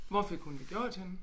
Hvor fik hun det gjort henne?